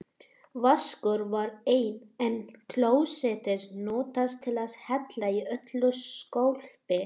Vaskur var enginn, en klósettið notað til að hella í öllu skólpi.